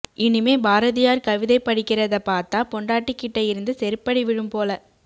இனிமே பாரதியார் கவிதை படிக்கறத பாத்தா பொண்டாட்டி கிட்ட இருந்து செருப்படி விழும் போல